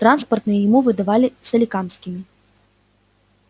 транспортные ему выдавали соликамскими